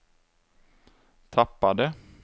tappade